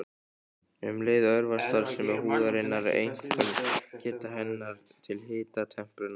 Um leið örvast starfsemi húðarinnar, einkum geta hennar til hitatemprunar.